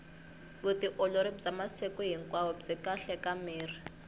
vutiolori bya masiku hinkwao byi kahle ka miri